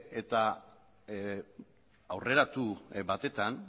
eta aurreratu batetan